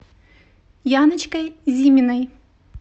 яночкой зиминой